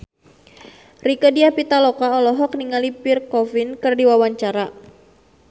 Rieke Diah Pitaloka olohok ningali Pierre Coffin keur diwawancara